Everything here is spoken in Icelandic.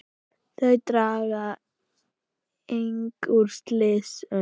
Þau draga einnig úr slysum.